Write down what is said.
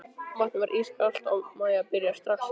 Vatnið var ískalt og Maja byrjaði strax að skjálfa.